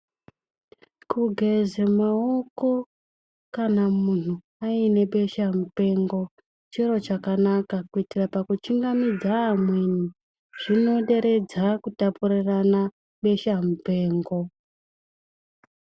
Kugeze mawoko kana muntu aine beshamupengo chiro chakanaka kuitira pakuchingamidza amweni zvinoderedza kutapurirana beshamupengo.